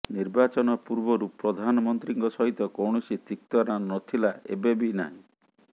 ନିର୍ବାଚନ ପୂର୍ବରୁ ପ୍ରଧାନ ମନ୍ତ୍ରୀଙ୍କ ସହିତ କୌଣସି ତିକ୍ତତା ନ ଥିଲା ଏବେ ବି ନାହିଁ